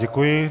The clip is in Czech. Děkuji.